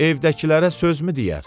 Evdəkilərə sözmü deyər?